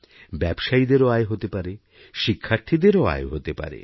ব্যবসায়ীদেরও আয় হতে পারে শিক্ষার্থীদেরও আয় হতে পারে